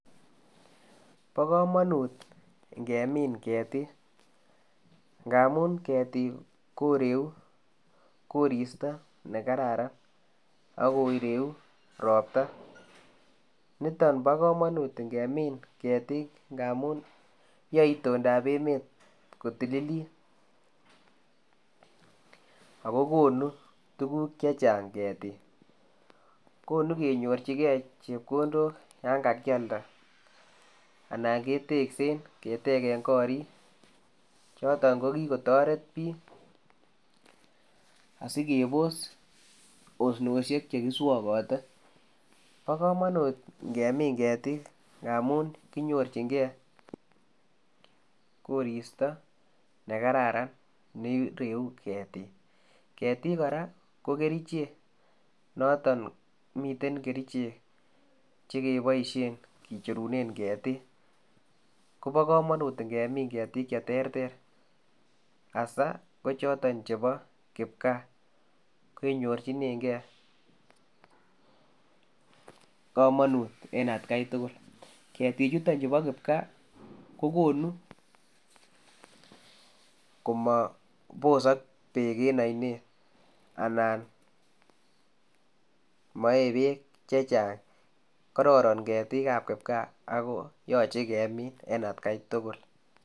Bo kamanut ngemin ketik, ngamun ketik koreu koristo ne kararan, akoreu ropta, niton bo kamanut ngemin ketik ngamun yoe itondab emet ko tililit, ak kokonu tukuk che chang ketik, konu kenyorchikei chepkondok yan kakyalda, anan keteksen keteken gorik, choton ko kikotoret piik asikebos osnosiek che ki swokote, bo kamanut ngemin ketik, ngamun kinyorchinkei koristo ne kararan ne reu ketik, ketik kora ko kerichek noton miten kerichek che keboisien kicherunen ketik, kobo kamanut ngemin ketik che terter, asa ko choton chebo kipkaa, kenyonchinenkei kamanut en atkai tugul, keti chutonchu bo kipkaa, kokonu komo bosok beek en ainet anan mae beek che chang, kororon ketikab kipkaa ako yoche kemin en atkai tugul.